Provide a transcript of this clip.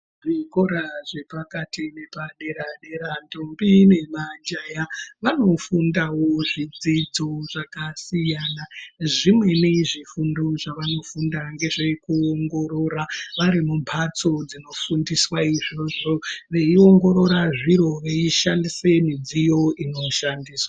Kuzvikora zvepakati nepadera dera ntombi nemajaya ..vanofundavo zvidzidzo zvakasiyana ..zvimweni zvifundo zvawanofunda ndezve kuongorora varimumbatso dzinofundiswa izvozvo weiongorora zviro weishandisa midziyo inoshandiswa.